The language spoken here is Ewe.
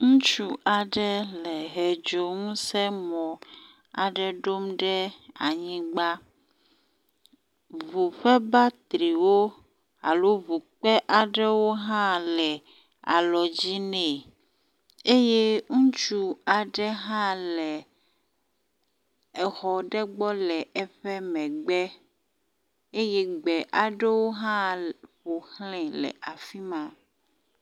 Ŋutsu aɖe le hɛ ŋusẽ dzo aɖe ɖom ɖe anyigba, ŋu ƒe batterywo le alɔ dzi ne, eye ŋutsu aɖe hã le exɔ ɖe gbɔ le eƒe megbe eye gbe aɖewo hã ƒoxlae le afi ma